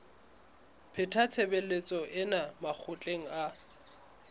pheta tshebetso ena makgetlo a